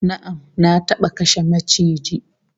Na'am, Na taba kashe maciji